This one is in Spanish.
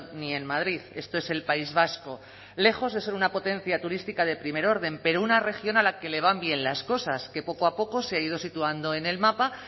ni en madrid esto es el país vasco lejos de ser una potencia turística de primer orden pero una región a la que le van bien las cosas que poco a poco se ha ido situando en el mapa